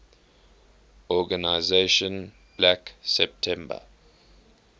organization black september